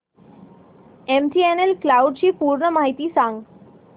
MTNL cloud ची पूर्ण माहिती सांग